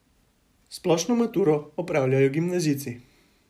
Splošno maturo opravljajo gimnazijci.